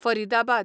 Faridabad